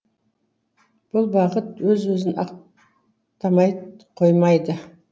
бұл бағыт өз өзін ақтамай қоймайды